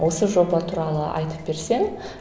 осы жоба туралы айтып берсең